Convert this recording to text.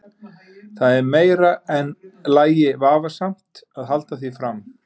Það er í meira lagi vafasamt að halda því fram.